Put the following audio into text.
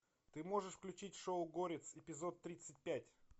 ты можешь включить шоу горец эпизод тридцать пять